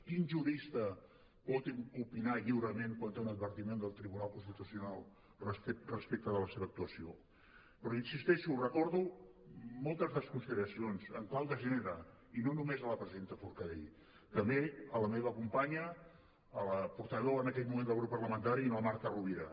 quin jurista pot opinar lliurement quan té un advertiment del tribunal constitucional respecte de la seva actuació però hi insisteixo recordo moltes desconsideracions en clau de gènere i no només a la presidenta forcadell també a la meva companya a la portaveu en aquell moment del grup parlamentari la marta rovira